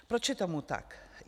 Proč je tomu tak?